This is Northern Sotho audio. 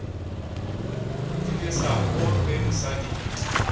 di lesa mo ge mosadi